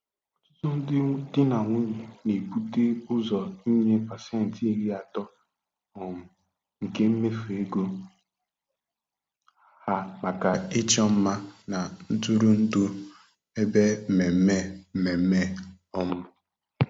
Ọtụtụ ndị di na nwunye na-ebute ụzọ inye pasentị iri atọ um nke mmefu ego ha maka ịchọ mma na ntụrụndụ ebe mmemme. mmemme. um